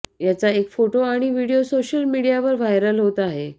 याचा एक फोटो आणि व्हिडिओ सोशल मीडियावर व्हायरल होत आहे